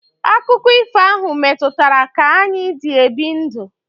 Akụkọ ifo ahụ metụtara ka anyị dị ebi ndụ.